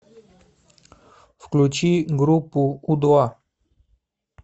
включи группу у два